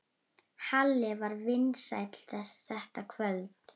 Halli var vinsæll þetta kvöld.